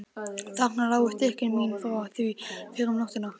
Þarna lágu stykki mín frá því fyrr um nóttina.